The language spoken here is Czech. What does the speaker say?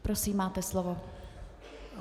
Prosím, máte slovo.